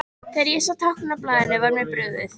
Þegar ég sá táknin á blaðinu var mér brugðið.